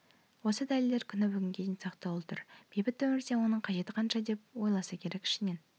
ол дәлелдер күні бүгінге дейін сақтаулы тұр бейбіт өмірде оның қажеті қанша деп ойласа керек ішінен